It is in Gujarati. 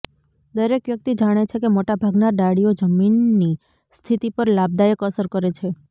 દરેક વ્યક્તિ જાણે છે કે મોટા ભાગના ડાળીઓ જમીનની સ્થિતિ પર લાભદાયક અસર કરે છે